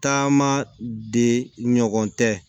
Taama de ɲɔgɔn tɛ